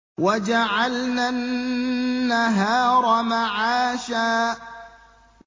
وَجَعَلْنَا النَّهَارَ مَعَاشًا